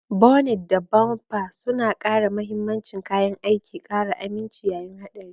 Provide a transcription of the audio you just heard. Bonet da bampa suna kare mahimmancin kayan aikin, ƙara aminci yayin haɗari.